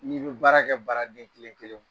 N'i be baara kɛ baaraden kelen-kelen b